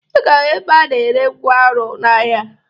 Ị ga-ahụ ebe a na-ere ngwaọrụ n'ahịa